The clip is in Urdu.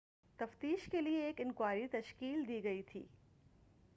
تفتیش کیلئے ایک انکوائری تشکیل دی گئی تھی